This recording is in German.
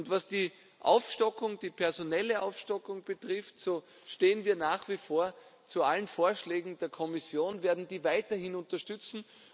Was die personelle Aufstockung betrifft, so stehen wir nach wie vor zu allen Vorschlägen der Kommission, werden diese weiterhin unterstützen.